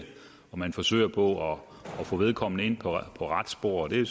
man forsøger på at få vedkommende ind på rette spor og det